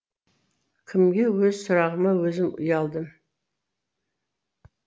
кімге өз сұрағыма өзім ұялдым